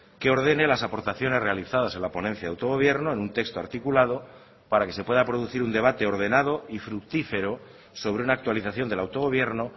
que ordene las aportaciones realizadas en la ponencia de autogobierno en un texto articulado para que se pueda producir un debate ordenado y fructífero sobre una actualización del autogobierno